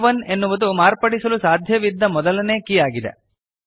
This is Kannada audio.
ಕೆ 1 ಎನ್ನುವುದು ಮಾರ್ಪಡಿಸಲು ಸಾಧ್ಯವಿದ್ದ ಮೊದಲನೇ ಕೀ ಆಗಿದೆ